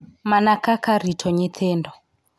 Mana kaka rito nyithindo.